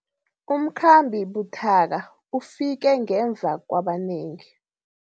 Umkhambi buthaka ufike ngemva kwabanengi.